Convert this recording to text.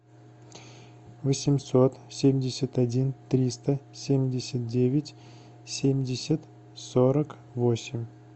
восемьсот семьдесят один триста семьдесят девять семьдесят сорок восемь